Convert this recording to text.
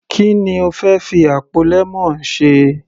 Ki ni o fẹ́ fi àpò lemon ṣe.